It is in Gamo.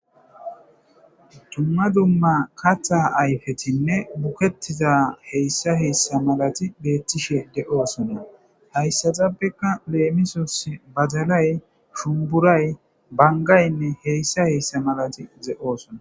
dumma dumma katha ayfetinne bukettiza heyssa heyssa malati beettishe de7oosona hayssaxapbekka leemisos bazalay shumburay bangaynne heyssa heyssa malati ze7oosona